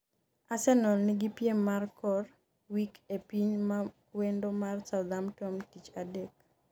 Arsenal nigi piem mar kor wik e piny mawendo mar Southampton tich adek